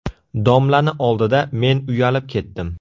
Domlani oldida men uyalib ketdim.